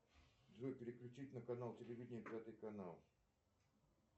джой переключить на канал телевидения пятый канал